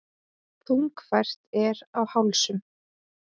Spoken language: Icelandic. Þungfært er á hálsum.